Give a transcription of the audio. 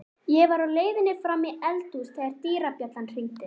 Ég var á leiðinni fram í eldhús þegar dyrabjallan hringdi.